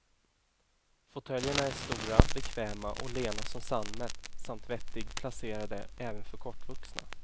Fotöljerna är stora, bekväma och lena som sammet samt vettig placerade, även för kortvuxna.